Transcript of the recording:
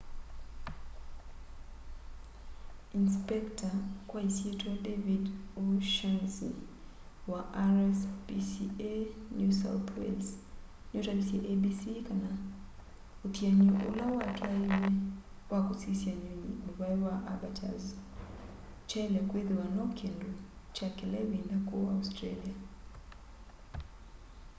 inisipekita kwa isyitwa david o'shannesy wa rspca new south wales nutavisye abc kana uthiani ula watwaiw'e wa kusisya nyunyi muvai wa abbatoirs kyaile kwithiwa no kindu kya kila ivinda ku australia